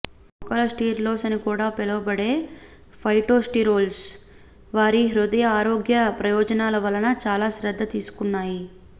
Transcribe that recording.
మొక్కల స్టెరోల్స్ అని కూడా పిలువబడే ఫైటోస్టెరోల్స్ వారి హృదయ ఆరోగ్య ప్రయోజనాల వలన చాలా శ్రద్ధ తీసుకున్నాయి